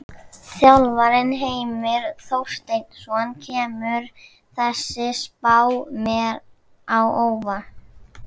Þjálfarinn: Heimir Þorsteinsson: Kemur þessi spá mér á óvart?